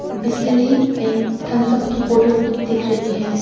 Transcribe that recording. Bisleri and Thums Up बोतल भी दिख रही है।